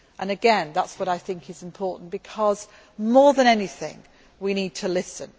room. Again, that is what I think is important, because more than anything, we need to listen.